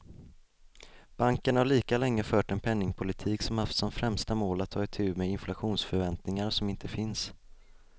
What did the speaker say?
Banken har lika länge fört en penningpolitik som haft som främsta mål att ta itu med inflationsförväntningar som inte finns.